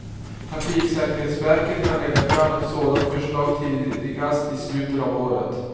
Trafiksäkerhetsverket kan lägga fram ett sådant förslag tidigast i slutet av året.